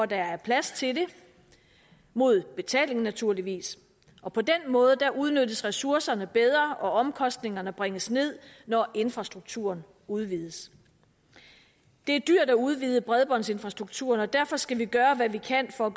der er plads til det mod betaling naturligvis og på den måde udnyttes ressourcerne bedre og omkostningerne bringes ned når infrastrukturen udvides det er dyrt at udvide bredbåndsinfrastrukturen og derfor skal vi gøre hvad vi kan for at